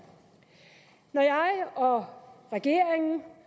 når jeg og regeringen